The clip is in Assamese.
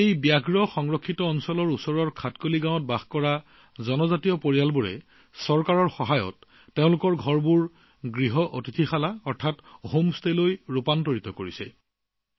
এই বাঘ সংৰক্ষিত বনাঞ্চলৰ কাষতে থকা খাটকালি গাঁৱত বসবাস কৰা জনজাতীয় পৰিয়ালে চৰকাৰৰ সহায়ত নিজৰ ঘৰবোৰ হোম ষ্টেলৈ ৰূপান্তৰিত কৰিছে